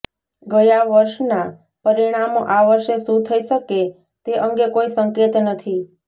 ગયા વર્ષના પરિણામો આ વર્ષે શું થઈ શકે તે અંગે કોઈ સંકેત નથી